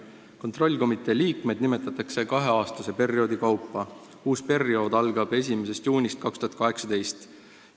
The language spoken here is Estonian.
Kontrollkomitee liikmed nimetatakse kaheaastaste perioodide kaupa, uus periood algab 1. juunist 2018.